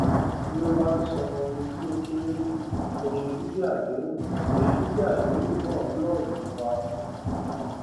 bí o bá san oye tí ó kéré ju oye gbígbé àdéhùn oye gbígbé àdéhùn náà lọ èré wà